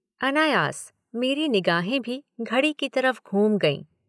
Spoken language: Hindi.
अनायास मेरी निगाहें भी घड़ी की तरफ घूम गईं।